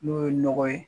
N'o ye nɔgɔ ye